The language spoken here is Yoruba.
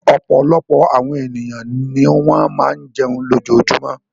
Ọ̀pọ̀lọpọ̀ àwọn ènìyàn ni wọ́n máa ń jẹun lójoojúmọ́.